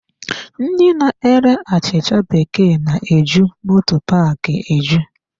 Ndị na-ere achịcha bekee na-eju moto paaki eju.